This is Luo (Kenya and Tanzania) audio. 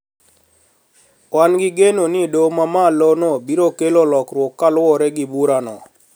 Wan gi geno ni doho mamalo no biro kelo lokruok kaluwore gi burano